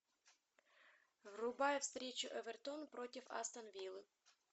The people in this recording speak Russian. врубай встречу эвертон против астон виллы